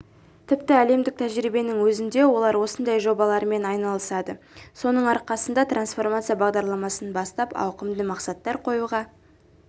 тіпті әлемдік тәжірибенің өзінде олар осындай жобалармен айналысады соның арқасында трансформация бағдарламасын бастап ауқымды мақсаттар қоюға